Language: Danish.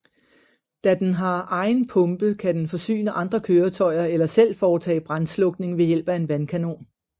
Da den har egen pumpe kan den forsyne andre køretøjer eller selv foretage brandslukning ved hjælp af en vandkanon